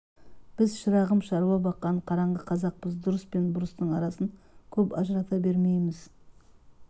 біз шырағым шаруа баққан қараңғы қазақпыз дұрыс пен бұрыстың арасын көп ажырата бермейміз